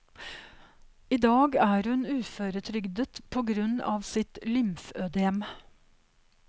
I dag er hun uføretrygdet på grunn av sitt lymfødem.